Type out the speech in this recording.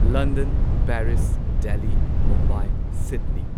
London Paris Delhi Mumbai Sydney